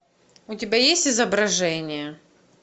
у тебя есть изображение